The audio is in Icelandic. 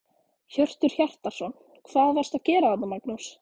Hjörtur Hjartarson: Hvað varstu að gera þarna Magnús?